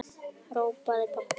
hrópaði pabbi.